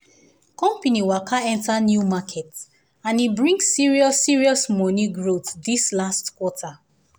company waka enter new market and e bring serious serious money growth this last quarter